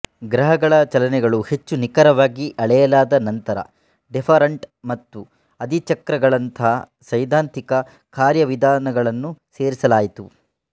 ಗ್ರಹಗಳ ಚಲನೆಗಳನ್ನು ಹೆಚ್ಚು ನಿಖರವಾಗಿ ಅಳೆಯಲಾದ ನಂತರ ಡೆಫ಼ರಂಟ್ ಮತ್ತು ಅಧಿಚಕ್ರಗಳಂತಹ ಸೈದ್ಧಾಂತಿಕ ಕಾರ್ಯವಿಧಾನಗಳನ್ನು ಸೇರಿಸಲಾಯಿತು